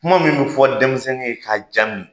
Kuma min bi fɔ denmisɛnnin ye ka ja mi